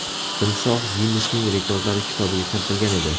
Timsoh Ginnesning rekordlar kitobiga kiritilgan edi.